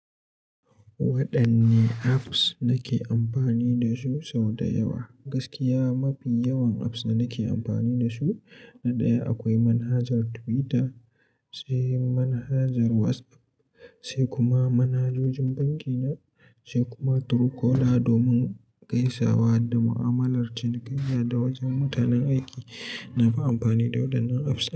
Waɗanne apps na ke amfani da su sau da yawa. Gaskiya, mafi yawan apps da na ke amfani da su, na ɗaya akwai manhajar Twitter, sai manhajar WhatsApp, sai kuma manhajojin banki na, sai kuma Truecaller domin gaisawa da mu'amalar cinkanya dawasu mutanen aiki. Na fi amfani da waɗannan apps.